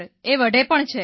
એ વઢે પણ છે